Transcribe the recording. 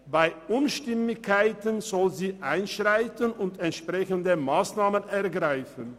Bei Unstimmigkeiten soll sie einschreiten und entsprechende Massnahmen ergreifen.